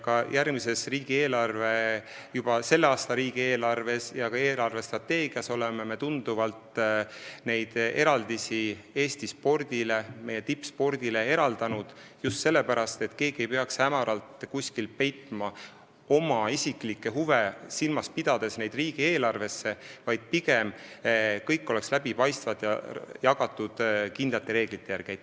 Ka järgmises riigieelarves ning juba selle aasta riigieelarves ja eelarvestrateegias oleme Eesti spordile, meie tippspordile neid tuntavaid eraldisi määranud, just sellepärast, et keegi ei peaks oma isiklikke huve silmas pidades hämaralt peitma neid summasid riigieelarvesse, vaid kõik oleks läbipaistev ja jagatud kindlate reeglite järgi.